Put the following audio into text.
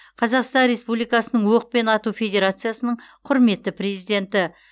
қазақстан республикасының оқпен ату федерациясының құрметті президенті